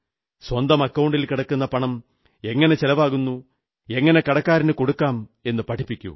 സ്വന്തം അക്കൌണ്ടിൽ കിടക്കുന്ന പണം എങ്ങനെ ചെലവാക്കുന്നു എങ്ങനെ കടക്കാരനു കൊടുക്കാം എന്നു പഠിപ്പിക്കൂ